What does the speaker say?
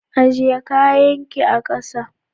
Ajie kayakin ka a'kasa.